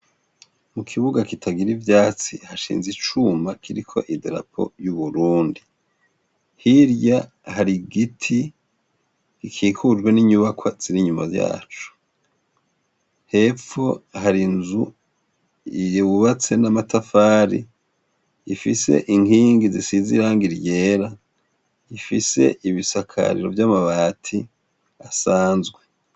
Mu kibuga kitagira ivyatsi, hashinze icuma kiriko idarapo y'uburundi. Hirya hari igiti gikikujwe n'inyubakwa ziri inyuma yaco. Hepfo hari inzu yubatse n'amatafari, ifise inkingi zisize irangi ryera, ifise ibisakariro vy'amabati asanzwe.